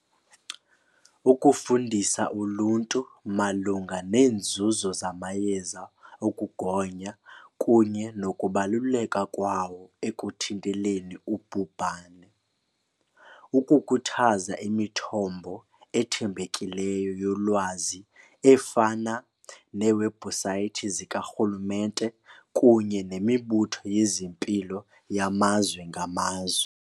Ukufundisa uluntu malunga neenzuzo zamayeza okugonya kunye nokubaluleka kwawo ekuthinteleni ubhubhane. Ukukhuthaza imithombo ethembekileyo yolwazi efana neewebhusaythi zikarhulumente kunye nemibutho yezempilo yamazwe ngamazwe.